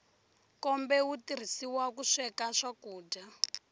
nkombe wu tirhisiwa ku sweka swakudya